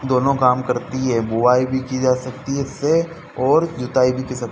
दोनों काम करती है बुवाई भी की जा सकती है इससे और जुताई भी--